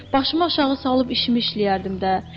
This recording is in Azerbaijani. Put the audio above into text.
Başımı aşağı salıb işimi işləyərdim də.